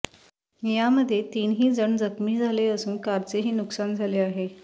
यामध्ये तीन ही जण जखमी झाले असून कारचेही नुकसान झाले आहे